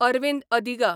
Arvind Adiga